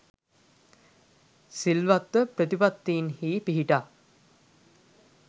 සිල්වත් ව ප්‍රතිපත්තීන්හි පිහිටා